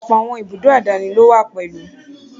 Ọ̀pọ̀ àwọn ìbùdókọ̀ àdáni lówà pẹ̀lú.